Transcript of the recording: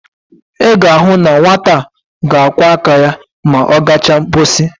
I ga-ahu na nwata a ga-akwo aka ya ma o gacha nposi.